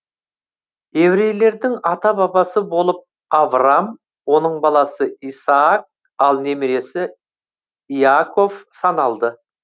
еврейлердің ата бабасы болып аврам оның баласы исаак ал немересі иаков саналды